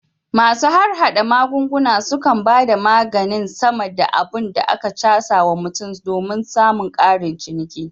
Masu harhada magunguna sukan bada maganin sama da abun da aka casa wa mutum somin samun karin ciniki